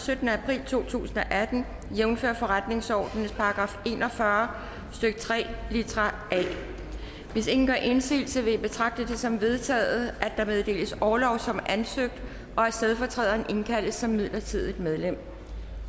syttende april to tusind og atten jævnfør forretningsordenens § en og fyrre stykke tre litra a hvis ingen gør indsigelse vil jeg betragte det som vedtaget at der meddeles orlov som ansøgt og at stedfortræderen indkaldes som midlertidigt medlem